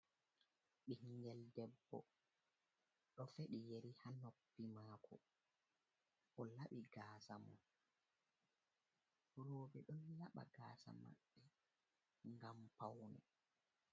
Bingel debbo do fedi yari ha noppi mako, o labi gasamun robe ɗon laba gasa maɓɓe gam paune.